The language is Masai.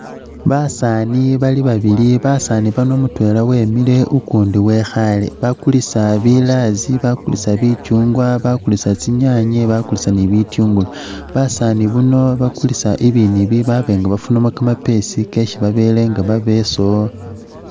Basaani bali babili, Basaani bano mutweela wemile ukundi wekhaale. Bakulisa bilaazi, bakulisa bicyungwa, bakulisa tsinyaanye, bakulisa ni bitungulu. Basaani bano bakulisa ibindu ibi byesi bafunamo kamapeesi baaba nga bebesawo.